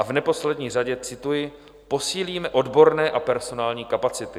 A v neposlední řadě cituji: posílíme odborné a personální kapacity.